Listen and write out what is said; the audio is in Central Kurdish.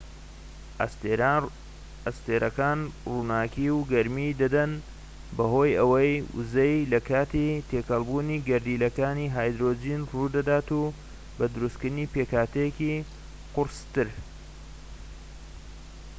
ئەستێرەکان ڕووناكی و گەرمی دەدەن بەهۆی ئەو ووزەیەی لە کاتی تێکەڵبوونی گەردیلەکانی هایدرۆجین ڕوو دەدات بۆ دروستکردنی پێکهاتەی قورستر